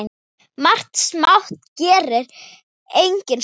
Margt smátt gerir eitt stórt